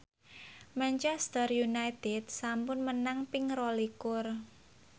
Manchester united sampun menang ping rolikur